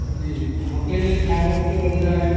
hotel ଏ ଖାଇବ ଗୋଟେ ଅଲଗା